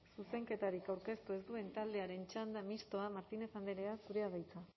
zuzenketarik aurkeztu ez duen taldearen txanda mistoa martínez andrea zurea da hitza